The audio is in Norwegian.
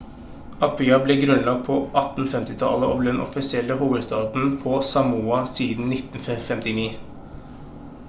apia ble grunnlagt på 1850-tallet og ble den offisielle hovedstaden på samoa siden 1959